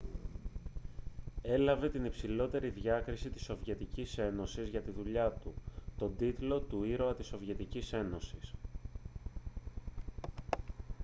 έλαβε την υψηλότερη διάκριση της σοβιετικής ένωσης για τη δουλειά του τον τίτλο του «ήρωα της σοβιετικής ένωσης»